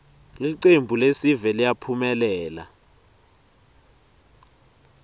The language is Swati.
ltcembuiesive liyaphumelela